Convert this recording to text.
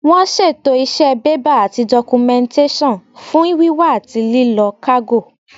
Wọ́n ṣètò iṣẹ́ bébà àti dọ́kúmẹ́ǹtẹ́sàn fún wíwá àti lílọ kágò